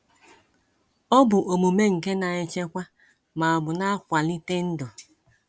Ọ bụ omume nke na-echekwa ma ọ bụ na-akwalite ndụ.